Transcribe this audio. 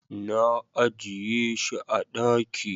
na ajiye shi a daki